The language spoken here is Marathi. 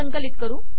संकलित करू